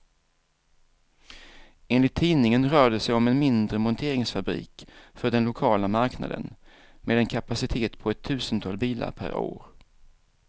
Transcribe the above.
Enligt tidningen rör det sig om en mindre monteringsfabrik för den lokala marknaden, med en kapacitet på ett tusental bilar per år.